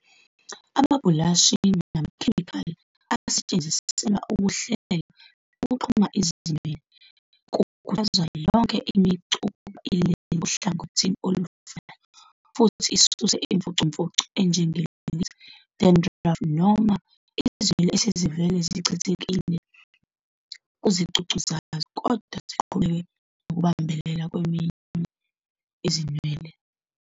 Amabhulashi namakhemikhali asetshenziselwa ukuhlela nokuxhuma izinwele, kukhuthazwa yonke imicu ukuba ilele ohlangothini olufanayo futhi isuse imfucumfucu enjenge- lint, dandruff, noma izinwele esezivele zichithekile kuzicucu zazo kodwa ziqhubeke nokubambelela kwezinye izinwele.